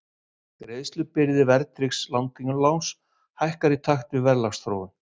Greiðslubyrði verðtryggðs langtímaláns hækkar í takt við verðlagsþróun.